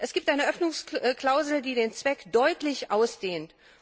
Es gibt eine Öffnungsklausel, die den Zweck deutlich ausdehnt.